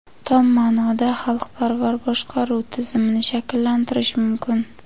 tom maʼnoda xalqparvar boshqaruv tizimini shakllantirish mumkin.